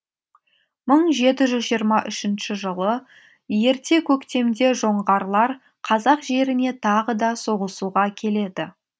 мың жеті жүз жиырма үшінші жылы ерте көктемде жоңғарлар қазақ жеріне тағы да соғысуға келеді